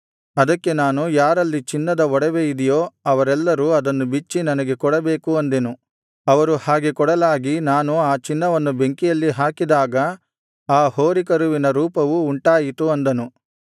ಅದಕ್ಕೆ ನಾನು ಯಾರಲ್ಲಿ ಚಿನ್ನದ ಒಡವೆಯಿದೆಯೋ ಅವರೆಲ್ಲರೂ ಅದನ್ನು ಬಿಚ್ಚಿ ನನಗೆ ಕೊಡಬೇಕು ಅಂದೆನು ಅವರು ಹಾಗೆ ಕೊಡಲಾಗಿ ನಾನು ಆ ಚಿನ್ನವನ್ನು ಬೆಂಕಿಯಲ್ಲಿ ಹಾಕಿದಾಗ ಈ ಹೋರಿಕರುವಿನ ರೂಪವು ಉಂಟಾಯಿತು ಅಂದನು